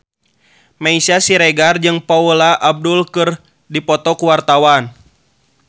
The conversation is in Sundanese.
Meisya Siregar jeung Paula Abdul keur dipoto ku wartawan